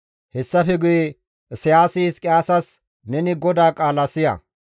Hessafe guye Isayaasi Hizqiyaasas, «Neni GODAA qaala siya;